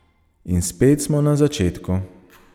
In spet smo na začetku.